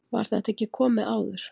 var þetta ekki komið áður